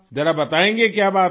जरा बताएंगी कि क्या बात है